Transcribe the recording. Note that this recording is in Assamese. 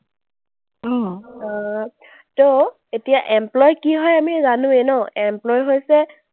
আহ to এতিয়া employee কি হয় আমি জানোৱেই ন? employee হৈছে